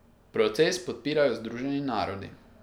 Proces podpirajo Združeni narodi.